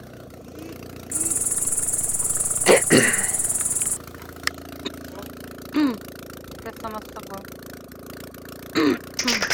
я сама с собой